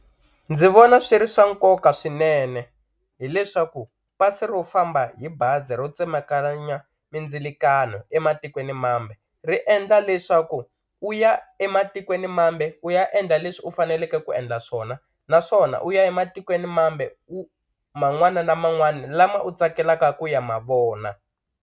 Ndzi vona swi ri swa nkoka swinene hileswaku pasi ro famba hi bazi ro tsemakanya mindzilkiano ematikweni mambe ri endla leswaku u ya ematikweni mambe u ya endla leswi u faneleke ku endla swona naswona u ya ematikweni mambe u man'wana na man'wani lama u tsakelaka ku ya ma vona.